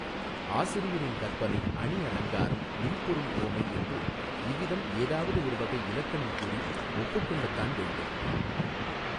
ஆசிரியரின் கற்பனை அணி அலங்காரம் இல்பொருள் உவமை என்று இவ்விதம் ஏதாவது ஒரு வகை இலக்கணம் கூறி ஒப்புக்கொள்ளத் தான் வேண்டும்.